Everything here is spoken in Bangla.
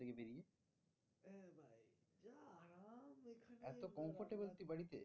এতো Comfortable তুই বাড়িতে?